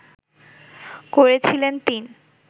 করেছিলেন তিন